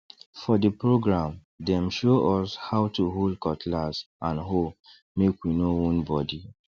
for the program dem show us how to hold cutlass and hoe make we no wound body